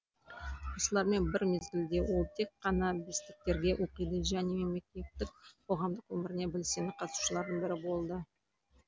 оқушылармен бір мезгілде ол тек қана бестіктерге оқиды және мектептік қоғамдық өміріне белсенді қатысушылардың бірі болды